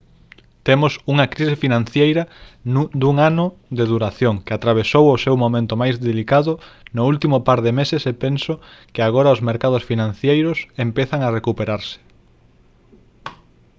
temos unha crise financeira dun ano de duración que atravesou o seu momento máis delicado no último par de meses e penso que agora os mercados financeiros empezan a recuperarse»